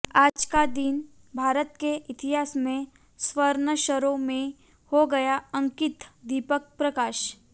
आज का दिन भारत के इतिहास में स्वर्णाक्षरों में हो गया अंकितः दीपक प्रकाश